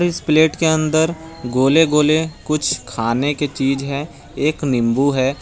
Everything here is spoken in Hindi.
इस प्लेट के अंदर गोले गोले कुछ खाने की चीज है एक नींबू है।